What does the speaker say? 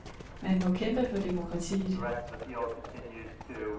Man må kæmpe for demokratiet.